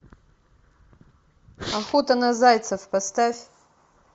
охота на зайцев поставь